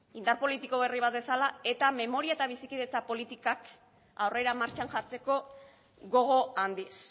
indar politiko berri bat bezala eta memoria eta bizikidetza politikak aurrera martxan jartzeko gogo handiz